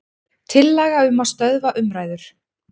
Tillaga um að stöðva umræður.